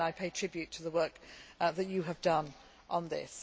you. Again, I pay tribute to the work that you have done on